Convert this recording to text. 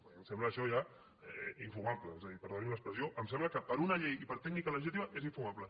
a mi em sembla això ja infumable és a dir perdonin l’expressió em sembla que per una llei i per tècnica legislativa és infumable